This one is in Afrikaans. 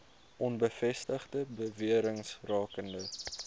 onbevestigde bewerings rakende